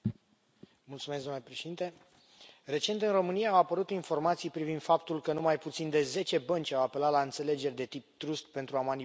Domnule președinte, recent, în România, au apărut informații privind faptul că nu mai puțin de zece bănci au apelat la înțelegeri de tip pentru a manipula ROBOR.